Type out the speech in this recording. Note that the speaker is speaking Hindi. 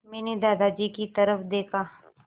मैंने दादाजी की तरफ़ देखा